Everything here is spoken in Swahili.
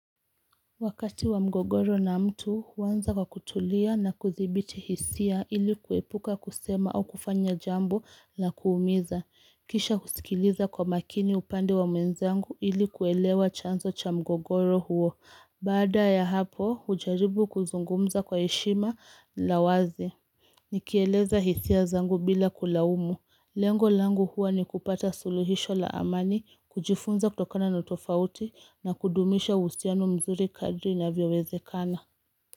Wakati wa mgogoro na mtu huanza kwa kutulia na kudhibiti hisia ili kuepuka kusema au kufanya jambo la kuumiza. Kisha husikiliza kwa makini upande wa mwenzangu ili kuelewa chanzo cha mgogoro huo. Baada ya hapo hujaribu kuzungumza kwa heshima na uwazi. Nikieleza hisia zangu bila kulaumu. Lengo langu huwa ni kupata suluhisho la amani, kujifunza kutokana na tofauti na kudumisha uhusiano mzuri kadri inavyowezekana.